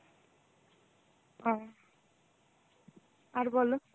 ও আর বলো.